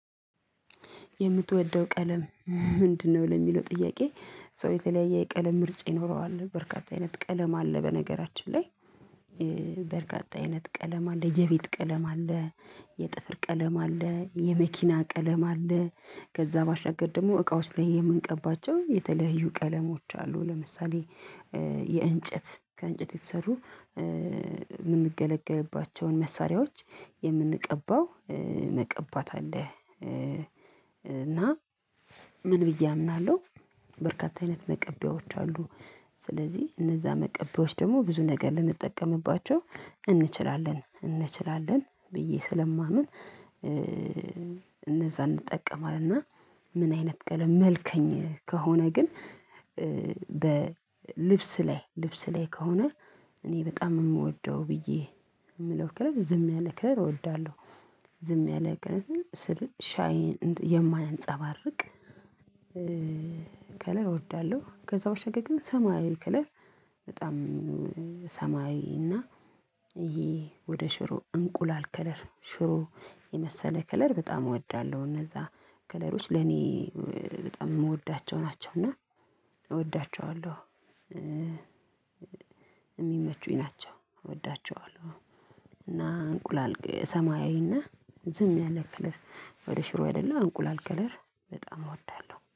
የምትወደው ቀለም ምንድነው? ለሚለው ጥያቄ ሰው የተለያየ የቀለም ምርጫ ይኖረዋል በርካታ አይነት ቀለም አለ በነገራችን ላይ። በርካታ አይነት ቀለም አለ የቤት ቀለም አለ። የጥፍር ቀለም አለ የመኪና ቀለም አለ። ከዛ ባሻገር ደግሞ እቃዎች ላይ የምንቀባቸው የተለያዩ ቀለሞች አሉ። ለምሳሌ የእንጨት ከእንጨት የተሰሩ የምንገለገልባቸውን መሳሪያዎች የምንቀባው መቀባት አለ። እና ምን ብዬ አምናለሁ በርካታ አይነት መቀቢያወች አሉ። ስለዚህ እነዛ መቀቢያወችች ደግሞ ብዙ ነገር ልንጠቀምባቸው እንችላለን እንችላለን ብዬ ስለማምን። እነዛ እንጠቀማለን እና ምን አይነት ቀለም መልከኛ ከሆነ ግን። በልብስ ላይ ልብስ ላይ ከሆነ እኔ በጣም የምወደው ብዬ የምለው ከለር ዝም ያለ ከለር እወዳለሁ። ዝም ያለ ከለር ስል የማንፀባርቅ ከለር እወዳለሁ። ከዛ ውጭ ግን ሰማያዊ ከለር በጣም ሰማያዊ እና ይሄ ወደ ሽሮ እንቁላል ከለር ሽሮ የመሰለ ከለር በጣም እወዳለሁ። እነዛ ከለሮች ለኔ በጣም የምወዳቸው ናቸው እና እወዳቸዋለሁ። የሚመቹኝ ናቸው እወዳቸዋለሁ። እና እንቁላል ሰማያዊና ዝም ያለ ከለር ወደ ሽሮ ያደላ እንቁላል ከለር በጣም እወዳለሁ